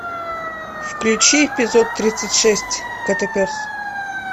включи эпизод тридцать шесть котопес